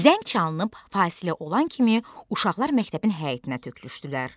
Zəng çalınıb fasilə olan kimi uşaqlar məktəbin həyətinə tökülüşdülər.